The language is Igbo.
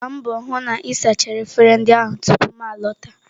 Gbaa mbọ hụ na ị sachara efere ndị ahụ tupu m a lọta.